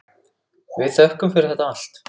Við þökkum fyrir þetta allt.